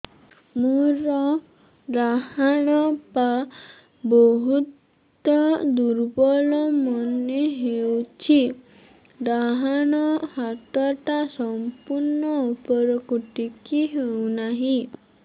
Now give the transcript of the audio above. ମୋର ଡାହାଣ ପାଖ ବହୁତ ଦୁର୍ବଳ ମନେ ହେଉଛି ଡାହାଣ ହାତଟା ସମ୍ପୂର୍ଣ ଉପରକୁ ଟେକି ହେଉନାହିଁ